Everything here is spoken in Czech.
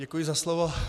Děkuji za slovo.